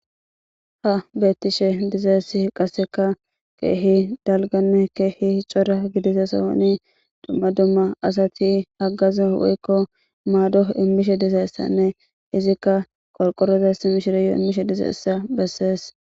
ha beettishe dizaessi qasseka keehi dalganne keehi cora gidisa sohoni dumma dumma asati haggaze woykko maado immishe dizayssanne izikka qorqorozassi mishireyoo immishe dizayssa bessees